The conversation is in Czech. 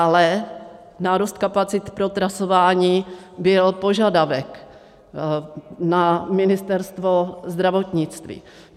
Ale nárůst kapacit pro trasování byl požadavek na Ministerstvo zdravotnictví.